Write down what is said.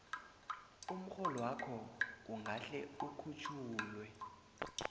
umrholwakho ungahle ukhutjhulwe